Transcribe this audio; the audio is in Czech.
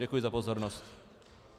Děkuji za pozornost.